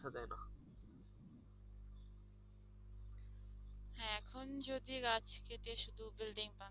এখন যদি গাছ কেটে শুধু building বানায়